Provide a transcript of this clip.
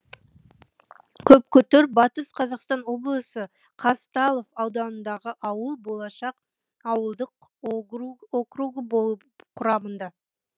көпкүтір батыс қазақстан облысы казталов ауданындағы ауыл болашақ ауылдық округі болып құрамында